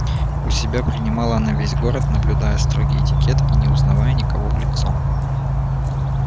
у себя принимала она весь город наблюдая строгий этикет и не узнавая никого в лицо